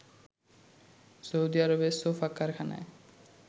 Saudi আরবের sofa কারখানায়